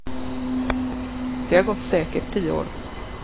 Det har gått säkert tio år.